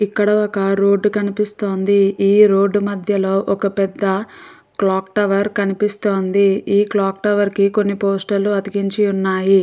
ఇక్కడ ఒక రోడ్డు కనిపిస్తోంది ఈ రోడ్ మద్యలో ఒక పెద్ద క్లాక్ టవర్ కనిపిస్తుంది ఈ క్లాక్ టవర్ కి కొన్ని పోస్టర్లు అతికించివున్నాయి.